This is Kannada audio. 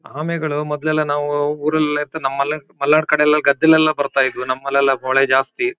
ಆಮೆಗಳು ಮೊದಲೆಲ್ಲ ನಾವು ಊರಲ್ಲೆಲ್ ಇತ್ತು ನಮ್ಮಲೆಲ್ ಮಲ್ನಾಡ್ ಕಡೆಲೆಲ್ಲ ಗದ್ದೆಲೆಲ್ಲ ಬರ್ತಾಯಿದ್ವು ನಮ್ಮಲೆಲ್ಲ ಮಳೆ ಜಾಸ್ತಿ.